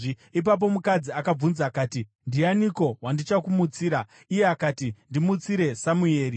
Ipapo mukadzi akabvunza akati, “Ndianiko wandichakumutsira?” Iye akati, “Ndimutsire Samueri.”